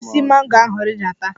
Si n'osisi mango ahụ rịdata!